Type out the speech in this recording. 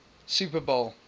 super bowl